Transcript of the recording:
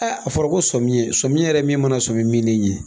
A fɔra ko sɔmiɲɛ, sɔmiɲɛ yɛrɛ ye min mana sɔmi min ne ɲɛ.